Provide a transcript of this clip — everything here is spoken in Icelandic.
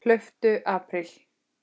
Hlauptu apríl.